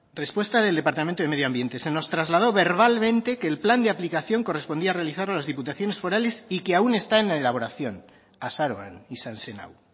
respuesta del departamento de medio ambiente se nos trasladó verbalmente que el plan de aplicación correspondía realizarlo a las diputaciones forales y que aún está en elaboración azaroan izan zen hau